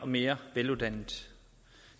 og mere veluddannede